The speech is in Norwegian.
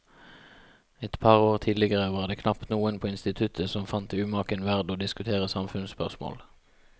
Et par år tidligere var det knapt noen på instituttet som fant det umaken verd å diskutere samfunnsspørsmål.